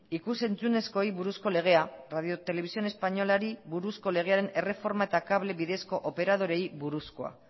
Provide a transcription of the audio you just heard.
ikus entzunezkoei buruzko legea radio televisión españolari buruzko legearen erreforma eta kable bidezko operadoreei buruzkoa